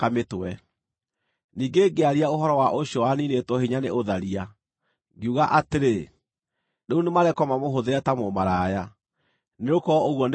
Ningĩ ngĩaria ũhoro wa ũcio waniinĩtwo hinya nĩ ũtharia, ngiuga atĩrĩ, ‘Rĩu nĩmarekwo mamũhũthĩre ta mũmaraya, nĩgũkorwo ũguo nĩguo atariĩ.’